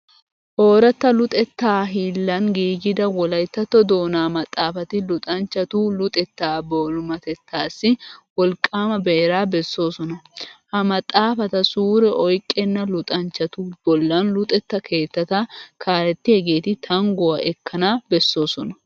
Ooratta luxettaa hiillan giigida wolayttatto doonaa maxaafati luxanchchatu luxettaa boolumatettaassi wolqqaama beeraa bessoosona. Ha maxaafata suure oyqqenna luxanchchatu bollan luxetta keettata kaalettiyageeti tangguwa ekkana bessoosona.